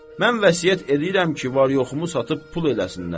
Mən vəsiyyət edirəm ki, var-yoxumu satıb pul eləsinlər.